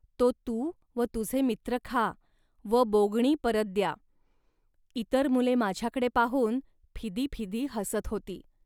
तो तू व तुझे मित्र खा व बोगणी परत द्या. इतर मुले माझ्याकडे पाहून फिदी फिदी हसत होती